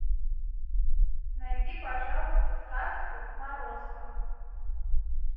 найди пожалуйста сказку морозко